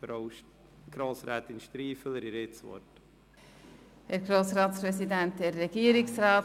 – Frau Grossrätin Striffeler, Sie haben das Wort.